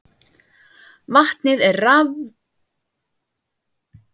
Vatnið er rafgreint, vetninu safnað en súrefni sleppt út.